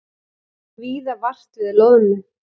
Víða vart við loðnu